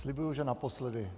Slibuji, že naposledy.